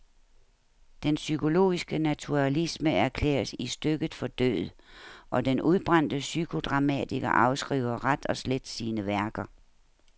Den psykologiske naturalisme erklæres i stykket for død, og den udbrændte psykodramatiker afskriver ret og slet sine værker.